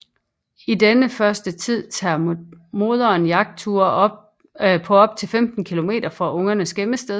I denne første tid tager moderen jagtture på op til 15 km fra ungernes gemmested